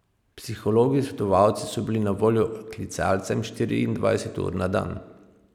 Psihologi svetovalci so bili na voljo klicalcem štiriindvajset ur na dan.